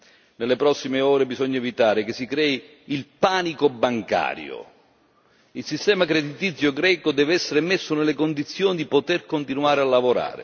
Nelle prossime ore bisogna evitare che si crei il panico bancario il sistema creditizio greco deve essere messo nelle condizioni di poter continuare a lavorare.